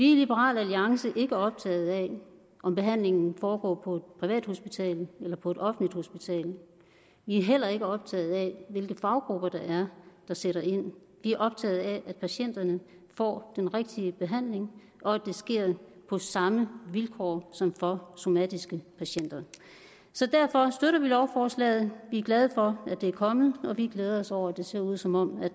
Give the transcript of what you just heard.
i liberal alliance ikke optaget af om behandlingen foregår på et privathospital eller på et offentligt hospital vi er heller ikke optaget af hvilke faggrupper det er der sætter ind vi er optaget af at patienterne får den rigtige behandling og at det sker på samme vilkår som for somatiske patienter derfor støtter vi lovforslaget vi er glade for at det er kommet og vi glæder os over at det ser ud som om